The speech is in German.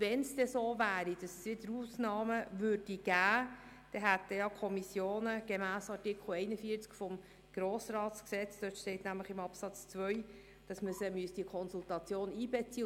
Wenn es denn so wäre, dass es wieder Ausnahmen gäbe, müssten die Kommissionen gemäss Artikel 41 Absatz 2 des Gesetzes über den Grossen Rat (Grossratsgesetz, GRG) in die Konsultationen einbezogen werden.